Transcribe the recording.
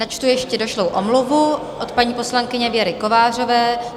Načtu ještě došlou omluvu od paní poslankyně Věry Kovářové.